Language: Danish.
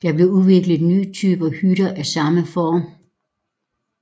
Der blev udviklet nye typer hytter af samme form